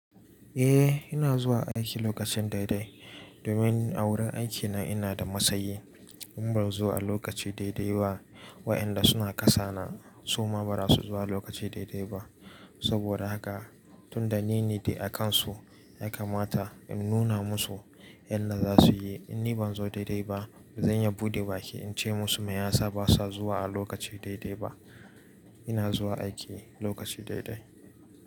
Eh, ina zuwa aiki lokacin daidai domin a wurin aiki na ina da matsayi in ba in zo a lokaci daidai ba waɗanda suna kasa na suma ba za su zo a lokaci daidai ba. Saboda haka tunda nini dai a kansu ya kamata in nuna musu yadda za su yi. In ni ban zo daidai ba, zan iya buɗe baki in ce musu me yasa ba sa zuwa a lokaci daidai ba? Ina zuwa aiki lokaci daidai.